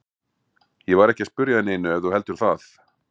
Ég var ekki að spyrja að neinu ef þú heldur það.